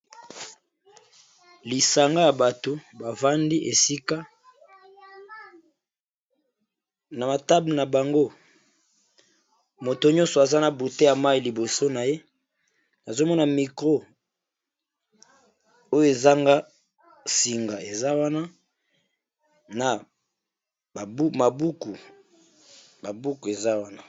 Lisanga ya bato bavandi esika na ba table na bango, moto nyonso aza na bouteille ya mai liboso na ye, nazomona micro oyo ezanga singa eza wana na babuku eza wana.